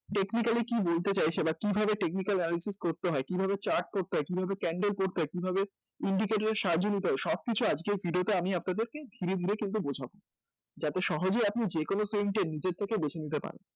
Technically কী বলতে চাইছে বা কীভাবে technical analysis করতে হয় কীভাবে chart করতে হয় কীভাবে candle করতে হয় কীভাবে indicator এর সাহায্য নিতে হয় সবকিছু আজকের video তে আমি আপনাদের ধীরে ধীরে কিন্তু বোঝাব যাতে আপনি সহজে যে কোনো নিজের থেকে বেছে নিতে পারেন